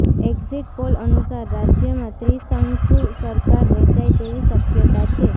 exit poll અનુસાર રાજ્યમાં ત્રિશંકુ સરકાર રચાય તેવી શક્યતા છે